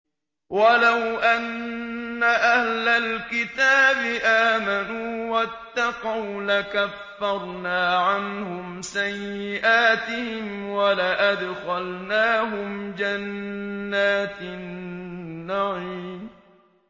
وَلَوْ أَنَّ أَهْلَ الْكِتَابِ آمَنُوا وَاتَّقَوْا لَكَفَّرْنَا عَنْهُمْ سَيِّئَاتِهِمْ وَلَأَدْخَلْنَاهُمْ جَنَّاتِ النَّعِيمِ